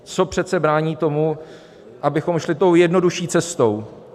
Co přece brání tomu, abychom šli tou jednodušší cestou?